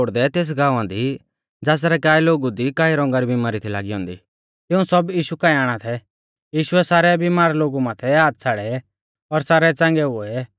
दूस ओड़दैओड़दै तेस गाँवा दी ज़ासरै काऐ लोगु दी कई रौंगा री बिमारी थी लागी औन्दी तिऊं सब यीशु काऐ आणा थै यीशुऐ सारै बिमार लोगु माथै हाथ छ़ाड़ै और सारै च़ांगै किऐ